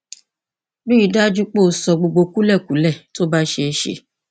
rí i dájú pé o sọ gbogbo kúlẹkúlẹ tó bá ṣeé ṣe